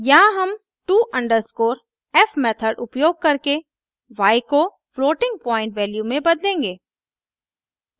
यहाँ हम to_f method उपयोग करके y को फ्लोटिंग पॉइन्ट वैल्यू में बदलेंगे